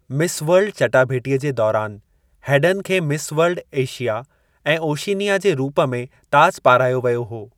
Miss World चटाभेटीअ जे दौरान हेडन खे मिस वर्ल्ड-एशिया ऐं ओशिनिया जे रूप में ताज पाराहियो वियो हो।